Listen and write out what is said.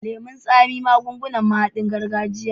Lemon tsami mahaɗin magungunan gargajiya ne.